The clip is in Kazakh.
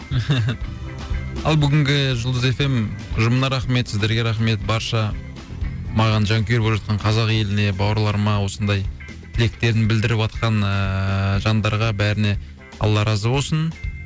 ал бүгінгі жұлдыз эф эм ұжымына рахмет сіздерге рахмет барша маған жанкүйер болып жатқан қазақ еліне бауырларыма осындай тілектерін білдіріватқан ыыы жандарға бәріне алла разы болсын